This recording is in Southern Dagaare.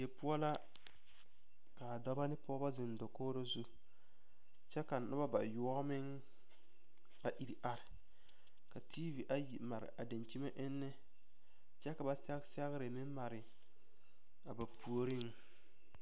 Die poɔ la ka dɔba ne pɔgeba zeŋ dakogro zu kyɛ ka noba bayoɔ meŋ a iri are ka tiivi ayi mare a dankyime enne kyɛ ka ba sɛge sɛgre meŋ mare a ba puoriŋ.